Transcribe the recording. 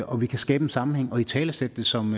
og vi kan skabe en sammenhæng og italesætte det som